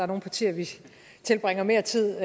nogle partier vi tilbringer mere tid